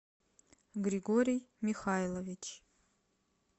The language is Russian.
григорий михайлович